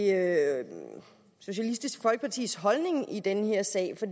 er socialistisk folkepartis holdning i den her sag for